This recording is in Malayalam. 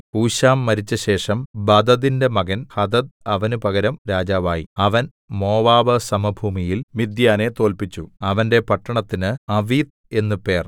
ഹൂശാം മരിച്ചശേഷം ബദദിന്റെ മകൻ ഹദദ് അവന് പകരം രാജാവായി അവൻ മോവാബ് സമഭൂമിയിൽ മിദ്യാനെ തോല്പിച്ചു അവന്റെ പട്ടണത്തിന് അവീത്ത് എന്ന് പേർ